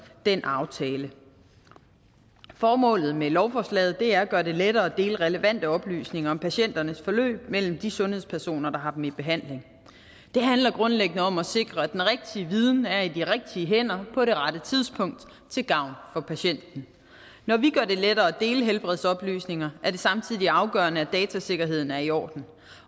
den aftale formålet med lovforslaget er at gøre det lettere at dele relevante oplysninger om patienternes forløb mellem de sundhedspersoner der har dem i behandling det handler grundlæggende om at sikre at den rigtige viden er i de rigtige hænder på rette tidspunkt til gavn for patienten når vi gør det lettere at dele helbredsoplysninger er det samtidig afgørende at datasikkerheden er i orden